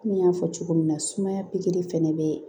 Komi n y'a fɔ cogo min na sumaya pikiri fana bɛ